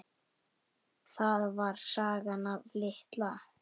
Það var sagan af Litla